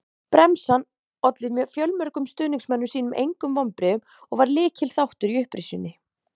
Bremsan olli fjölmörgum stuðningsmönnum sínum engum vonbrigðum og var lykilþáttur í upprisunni.